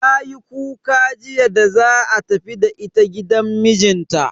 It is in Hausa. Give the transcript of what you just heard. Tayi kuka jiya da za a tafi da ita gidan mijinta.